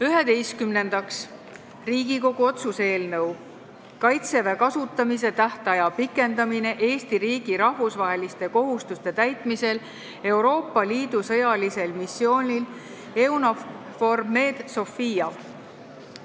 Üheteistkümnendaks, Riigikogu otsuse "Kaitseväe kasutamise tähtaja pikendamine Eesti riigi rahvusvaheliste kohustuste täitmisel Euroopa Liidu sõjalisel missioonil EUNAVFOR Med/Sophia" eelnõu.